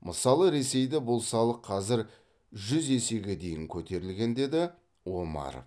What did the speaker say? мысалы ресейде бұл салық қазір жүз есеге дейін көтерілген деді омаров